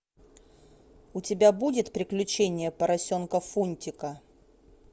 у тебя будет приключения поросенка фунтика